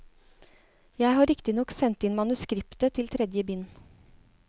Jeg har riktig nok sendt inn manuskriptet til tredje bind.